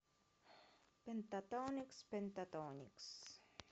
пентатоникс пентатоникс